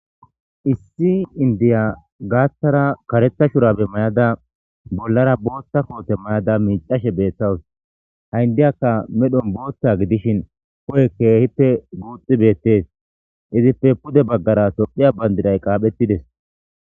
Issi indiya gaaththara kareta shurabe mayada bollara booththa koote mayada miicashe beeththawus haindiyakka medhon booththa gidishin ko7e keehippe guuxxi beettees izipfe pude baggara tophiya bandiray qaaphettides.